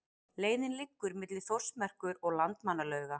Leiðin liggur milli Þórsmerkur og Landmannalauga.